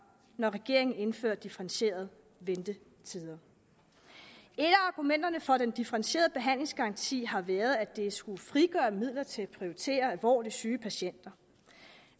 når regeringen indfører differentierede ventetider et af argumenterne for en differentieret behandlingsgaranti har været at det skulle frigøre midler til at prioritere alvorligt syge patienter